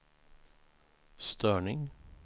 störning